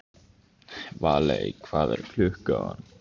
Valey, hvað er klukkan?